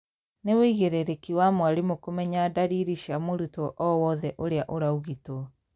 nĩ wũigĩrĩrĩki wa mwarimũ kũmenya ndariri cia mũrutwo owothe ũria ũraũgitwo.